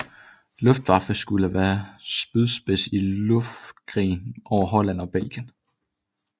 Luftwaffe skulle være spydspids i luftkrigen over Holland og Belgien